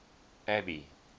abby